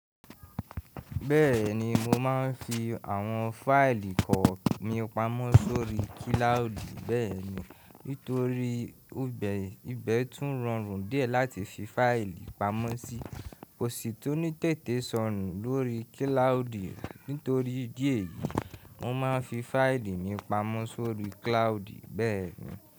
Bẹ́ẹ̀ni mo máa ń fi àwọn fáìlì kọ mi pamọ́ sórí kílàúdì bẹ́ẹ̀ni. Nítorí ibe ìbẹ̀ tún rọrùn díẹ̀ láti fi fáìlì pamọ́ sí. Kò sí tóní tètè sọnù lórí kílàúdì. Nítorí idí ẹ̀yìí, mo máa ń fi fáìlì mi pamọ́ sórí kílàúdì bẹ́ẹ̀ni.